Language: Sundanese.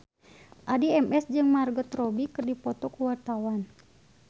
Addie MS jeung Margot Robbie keur dipoto ku wartawan